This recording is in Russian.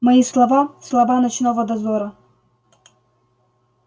мои слова слова ночного дозора